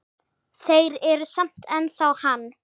Þeir eru samt ennþá hann.